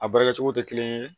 A baara kɛcogo tɛ kelen ye